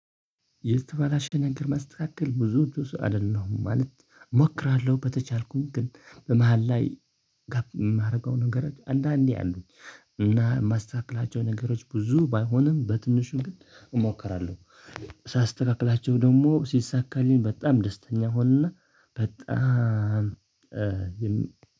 የተበላሽ ነገር ማስተካከል ብዙዎች ዉስጥ አይደለሁም ማለት እሞክራለሁ በተቻልኩኝ ግን በመሃል ላይ የማደርገው ነገሮች አንዳንዴ አሉኝ እና ማስተካከላቸው ነገሮች ብዙ ባይሆንም በትንሹ ግን እሞክራለሁ። ሳስተካክላቸው ደግሞ ሲሳካልኝ በጣም ደስተኛ ሆንና በጣም